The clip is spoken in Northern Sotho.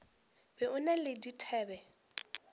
be o na le dithabe